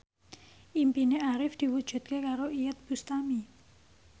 impine Arif diwujudke karo Iyeth Bustami